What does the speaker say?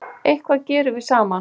Eitthvað gerum við saman